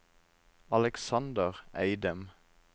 Aleksander Eidem